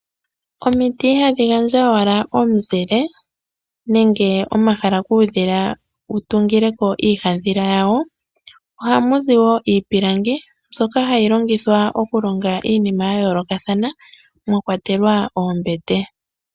Omiti ihadhi gandja owala omuzile nenge omahala kuudhila wu tungile ko iihandhila yawo. Ohamu zi wo iipilangi mbyoka hayi longithwa okulonga iinima ya yoolokathana mwa kwatelwa oombete.